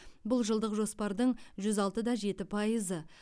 бұл жылдық жоспардың жүз алтыда жеті пайызы